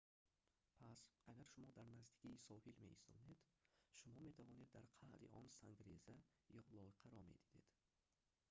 пас агар шумо дар наздикии соҳил меистодед шумо метавонед дар қаъри он сангреза ё лойқаро медидед